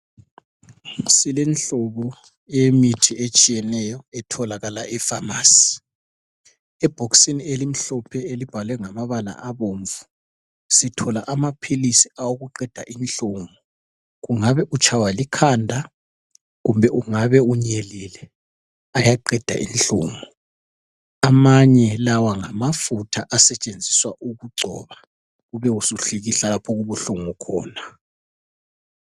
Silenhlobo eyemithi etshiyeneyo etholakala epharmacy. Ebhokisini elimhlophe elibhalwe ngamabala abomvu sithola amaphilisi awokuqeda inhlungu .Kungabe utshaywa likhanda , kumbe ungabe unyelile ayaqeda inhlungu . Amanye lawa ngamafutha asetshenziswa ukugcoba, ube usuhlikihla lapho okubuhlungu khona.